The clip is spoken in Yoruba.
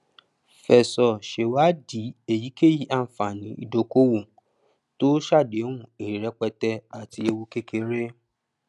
fẹsọ sèwádìí èyíkéyìí ànfàní ìdókòwò tó sàdéhùn èrè rẹpẹtẹ àti ewu kékeré